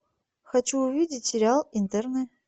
хочу увидеть сериал интерны